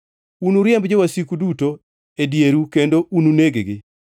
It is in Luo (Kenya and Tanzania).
Unuriemb jowasiku duto e dieru kendo ununeg-gi.